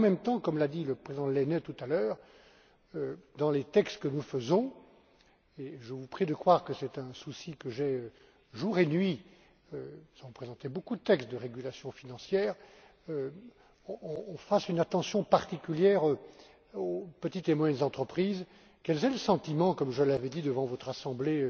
Et en même temps, comme l'a dit le président Lehne tout à l'heure, dans les textes que nous faisons et je vous prie de croire que c'est un souci que j'ai jour et nuit sans présenter beaucoup de textes de régulation financière, on accorde une attention particulière aux petites et moyennes entreprises, afin qu'elles aient le sentiment comme je l'avais dit devant votre Assemblée